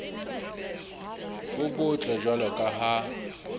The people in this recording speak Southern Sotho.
bo botle jwalo ka ha